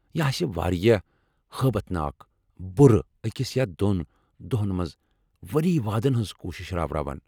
یہ آسہِ واریاہ ہٲبتھ ناك بُرٕ اکس یا دوٚن دۄہن منٛز ؤری وادن ہنٛز كوشِش راوٕراوان ۔